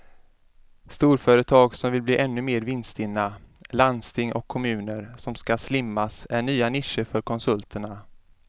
Storföretag som vill bli ännu mer vinststinna, landsting och kommuner som ska slimmas är nya nischer för konsulterna.